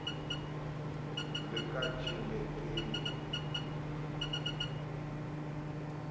le ka tjheletevv raboditse o